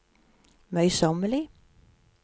møysommelig